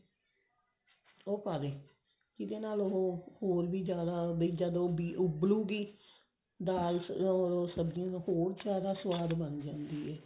ਉਹ ਪੜੇ ਜਿਹਦੇ ਨਾਲ ਉਹ ਹੋਰ ਵੀ ਜਿਆਦਾ ਜਦੋਂ ਵੀ ਉਬ੍ਲੁ ਗਈ ਦਾਲ ਉਹ ਸਬਜੀਆਂ ਹੋਰ ਜਿਆਦਾ ਸਵਾਦ ਬਣ ਜਾਂਦੀ ਹੈ